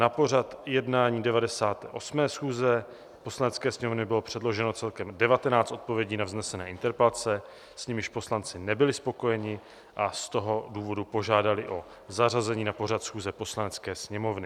Na pořad jednání 98. schůze Poslanecké sněmovny bylo předloženo celkem 19 odpovědí na vznesené interpelace, s nimiž poslanci nebyli spokojeni, a z toho důvodu požádali o zařazení na pořad schůze Poslanecké sněmovny.